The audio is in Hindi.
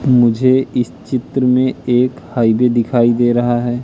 मुझे इस चित्र में एक हाईवे दिखाई दे रहा है।